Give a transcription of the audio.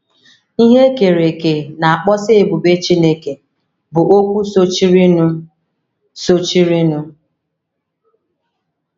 “ Ihe E Kere Eke Na - akpọsa Ebube Chineke ” bụ okwu sochirinụ. sochirinụ.